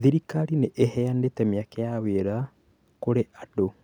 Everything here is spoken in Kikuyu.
Thirikari nĩ ĩheanĩte mieke ya mawĩra kũrĩ andũ